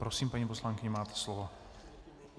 Prosím, paní poslankyně, máte slovo.